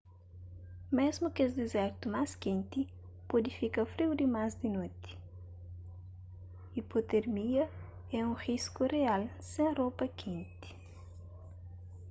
mésmu kes dizertu más kenti pode fika friu dimas di noti ipotermia é un risku rial sen ropa kenti